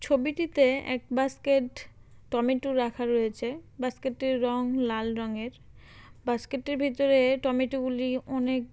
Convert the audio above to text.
ছবিটিতে এক basket tomato রাখা রয়েছে। বাস্কেট -টির রং লাল রঙের। বাস্কেট -টির ভিতরে টমেটু -গুলি অনেক।